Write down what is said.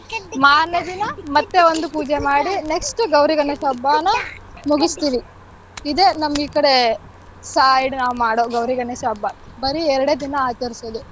ಮಾರ್ನೆ ದಿನ ಮತ್ತೆ ಒಂದು ಪೂಜೆ ಮಾಡಿ next ಗೌರಿ ಗಣೇಶ ಹಬ್ಬನ ಮುಗಿಸ್ತೀವಿ. ಇದೆ ನಮ್ ಈ ಕಡೆ side ನಾವ್ ಮಾಡೋ ಗೌರಿ ಗಣೇಶ ಹಬ್ಬ ಬರಿ ಎರಡೇ ದಿನ ಆಚರಿಸೋದು.